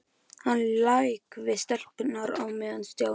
Hann lék við stelpurnar á meðan Stjáni og